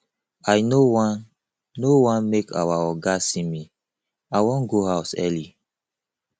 i no wan no wan make our oga see me i wan go house early